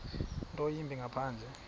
nto yimbi ngaphandle